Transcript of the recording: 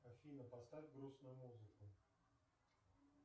афина поставь грустную музыку